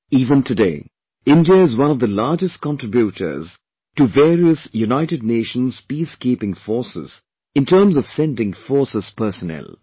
Even today, India is one of the largest contributors to various United Nations Peace Keeping Forces in terms of sending forces personnel